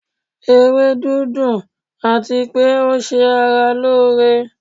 Ewedu dun àtipé ó se ara lóore